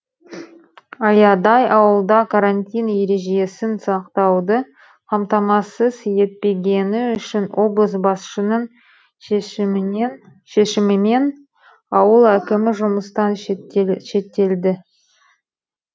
аядай ауылда карантин ережесін сақтауды қамтамасыз етпегені үшін облыс басшының шешімімен ауыл әкімі жұмыстан шеттетілді